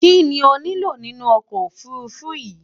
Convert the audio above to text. Kíni o nílò nínu okò ofurufu yí?